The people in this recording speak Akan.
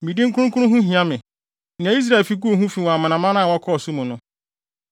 Me din kronkron ho hia me, nea Israelfi guu ho fi wɔ amanaman a wɔkɔɔ so mu no.